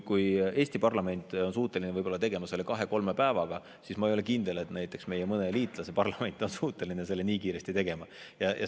Kui Eesti parlament on võib-olla suuteline tegema seda kahe-kolme päevaga, siis ma ei ole kindel, et näiteks mõne meie liitlase parlament on suuteline selle nii kiiresti ära tegema.